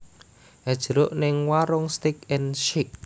Es jeruk ning Waroenk Steak and Shake